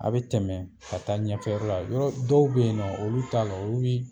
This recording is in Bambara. A bɛ tɛmɛ ka taa ɲɛfɛ yɔrɔ la yɔrɔ dɔw bɛ yen nɔ olu t'a la olu bi